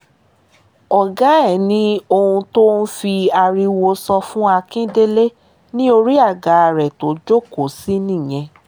ọ̀gá ẹ̀ ni ohun tó ń fi ariwo sọ fún àkíndélẹ̀ ní orí àga rẹ̀ tó jókòó sí nìyẹn